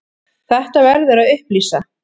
Þetta verður að upplýsa.